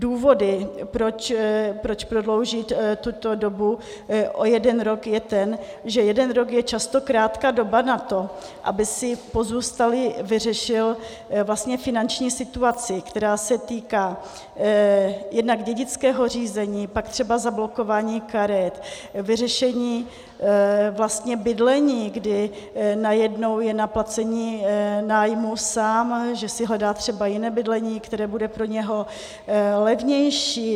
Důvod, proč prodloužit tuto dobu o jeden rok, je ten, že jeden rok je často krátká doba na to, aby si pozůstalý vyřešil finanční situaci, která se týká jednak dědického řízení, pak třeba zablokování karet, vyřešení bydlení, kdy najednou je na placení nájmu sám, že si hledá třeba jiné bydlení, které bude pro něj levnější.